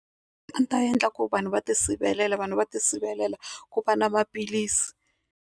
A ndzi ta endla ku vanhu va tisivelela vanhu va ti sivelela ku va na maphilisi.